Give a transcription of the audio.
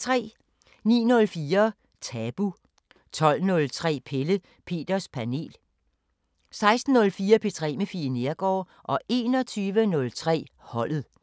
09:04: Tabu 12:03: Pelle Peters Panel 16:04: P3 med Fie Neergaard 21:03: Holdet